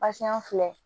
Basiyɔn filɛ